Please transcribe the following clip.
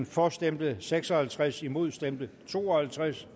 for stemte seks og halvtreds imod stemte to og halvtreds